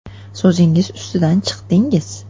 So‘zingiz ustidan chiqdingiz.